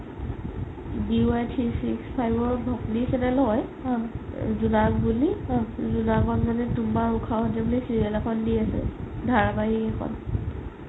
DY three six five ৰ channel হয় জোনাক বুলি জোনাকতে তুমাৰ উখাহত বুলি serial এখন দি আছে ধাৰাবাহিক এখন